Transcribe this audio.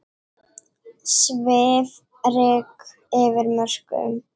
Svifryk yfir mörkum